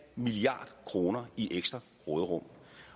milliard kroner i ekstra råderum